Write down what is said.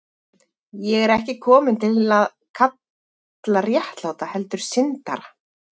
Ég er ekki kominn til að kalla réttláta, heldur syndara.